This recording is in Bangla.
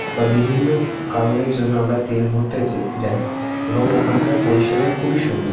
বিভিন্ন কারণের জন্য আমরা তেল ভরতেছে যাই এবং ওখানকার পরিষেবা খুবই সুন্দর।